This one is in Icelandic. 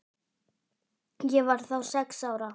Ég var þá sex ára.